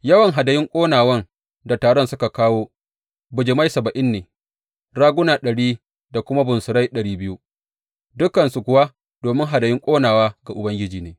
Yawan hadayun ƙonawan da taron suka kawo, bijimai saba’in ne, raguna ɗari da kuma bunsurai ɗari biyu, dukansu kuwa domin hadayun ƙonawa ga Ubangiji ne.